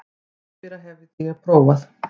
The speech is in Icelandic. Rakspíra hafði ég prófað.